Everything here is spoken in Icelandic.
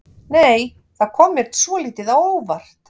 Nei! Það kom mér svolítið á óvart!